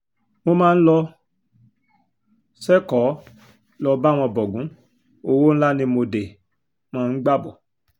mo máa ń lọ sẹ́kọ̀ọ́ lọ́ọ́ bá wọn bọgun owó ńlá ni mo dé máa ń gbà bọ́